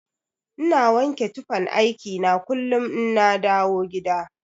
Ina wanke tufan aiki na kullun inna dawo gida.